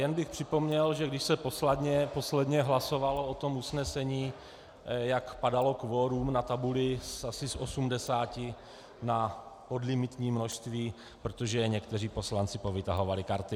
Jen bych připomněl, že když se posledně hlasovalo o tom usnesení, jak padalo kvorum na tabuli asi z 80 na podlimitní množství, protože někteří poslanci povytahovali karty.